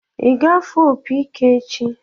Ị ga-afụ opi ike echi?